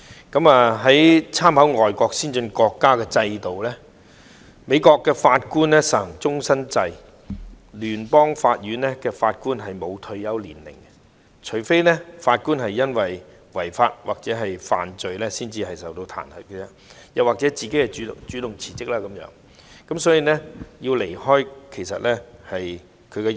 觀乎外國先進國家制度，美國法官實行終身制，聯邦法院法官不設退休年齡，除非法官因違法或犯罪受到彈劾，又或法官主動辭職才會離任。